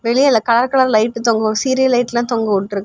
வெளில கலர் கலரா லைட் தொங்கு சீரியல் லைட்லாம் தொங்கவிட்டுருக்கு.